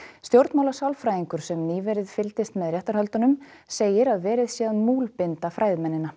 stjórnmálasálfræðingur sem nýverið fylgdist með réttarhöldunum segir að verið sé að múlbinda fræðimennina